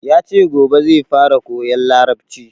Yace gobe zai fara koyan larabci